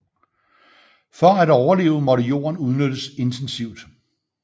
For at overleve måtte jorden udnyttes intensivt